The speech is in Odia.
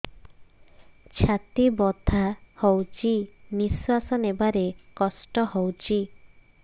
ଛାତି ବଥା ହଉଚି ନିଶ୍ୱାସ ନେବାରେ କଷ୍ଟ ହଉଚି